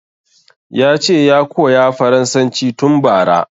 Yace ya koya farasanci tun bara